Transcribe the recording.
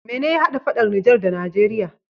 Mene ya hada faɗan niger da nageria?